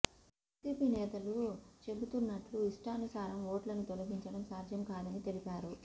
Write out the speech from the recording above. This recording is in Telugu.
వైసీపీ నేతలు చెబుతున్నట్లు ఇష్టానుసారం ఓట్లను తొలగించడం సాధ్యం కాదని తెలిపారు